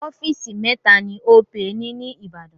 Ọ́fíìsì mẹ́ta ni Opay ni ní Ìbàdàn.